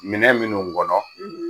Minɛ minnu ŋɔnɔ